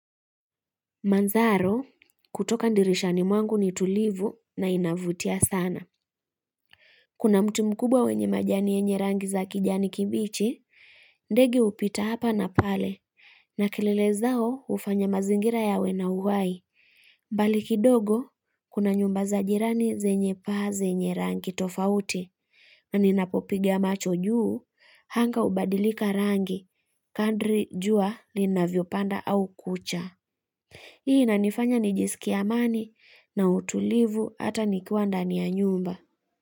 Mandharo, kutoka dirishani mwangu ni tulivu na inavutia sana. Kuna mti mkubwa wenye majani yenye rangi za kijani kibichi, ndege hupita hapa na pale, na kelele zao hufanya mazingira yawe na uhai. Mbali kidogo, kuna nyumba za jirani zenye paa zenye rangi tofauti, na ninapopiga macho juu, anga hubadilika rangi, kadri jua linavyopanda au kucha. Hii inanifanya nijisikie amani na utulivu hata nikiwa ndani ya nyumba.